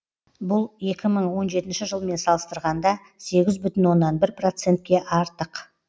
бұл екі мың он жетінші жылмен салыстырғанда сегіз бүтін оннан бір процентке артық